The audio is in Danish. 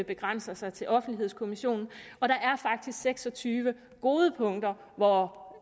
begrænser sig til offentlighedskommissionen og der er faktisk seks og tyve gode punkter hvor